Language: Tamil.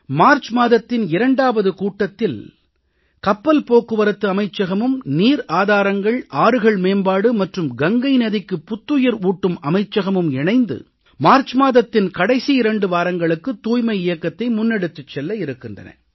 மார்ச் மாதத்தின் இரண்டாவது கூட்டத்தில் கப்பல் போக்குவரத்து அமைச்சகமும் நீர் ஆதாரங்கள் ஆறுகள் மேம்பாடு மற்றும் கங்கை நதிக்கு புத்துயிர் ஊட்டும் அமைச்சகமும் இணைந்து மார்ச் மாதத்தின் கடைசி 2 வாரங்களுக்கு தூய்மை இயக்கத்தை முன்னெடுத்துச் செல்ல இருக்கின்றன